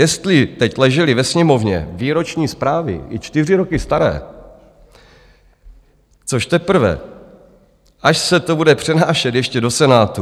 Jestli teď ležely ve Sněmovně výroční zprávy i čtyři roky staré, což teprve až se to bude přenášet ještě do Senátu?